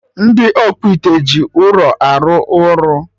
Ndị ọkpụite ji ụrọ arụ ọrụ